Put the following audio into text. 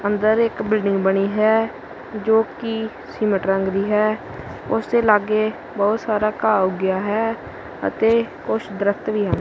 ਅੰਦਰ ਇੱਕ ਬਿਲਡਿੰਗ ਬਣੀ ਹੈ ਜੋ ਕਿ ਸੀਮੇਂਟ ਰੰਗ ਦੀ ਹੈ ਉਸ ਦੇ ਲਾਗੇ ਬਹੁਤ ਸਾਰਾ ਘਾਹ ਉੱਗਿਆ ਹੈ ਅਤੇ ਕੁਛ ਦਰਖਤ ਵੀ ਹਨ।